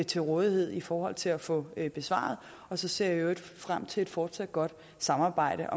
til rådighed i forhold til at få besvaret og så ser jeg i øvrigt frem til et fortsat godt samarbejde